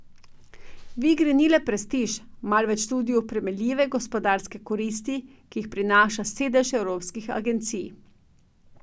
V igri ni le prestiž, marveč tudi oprijemljive gospodarske koristi, ki jih prinaša sedež evropskih agencij.